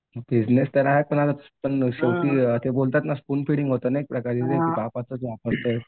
पण शेवटी बोलतात ना ते स्पूनफीडिंग होतं ना एक प्रकारचं